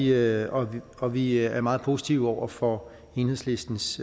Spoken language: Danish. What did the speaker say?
her og og vi er meget positive over for enhedslistens